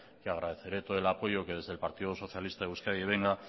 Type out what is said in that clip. que agradeceré todo el apoyo que desde el partido socialista de euskadi venga